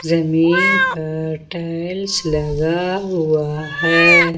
जमीन पर टाइल्स लगा हुआ है।